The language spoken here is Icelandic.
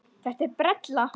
Þetta er brella.